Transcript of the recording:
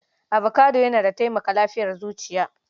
Avocado yana da taimaka lafiyar zuciya.